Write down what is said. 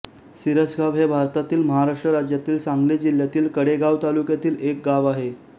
शिरसगाव हे भारतातील महाराष्ट्र राज्यातील सांगली जिल्ह्यातील कडेगांव तालुक्यातील एक गाव आहे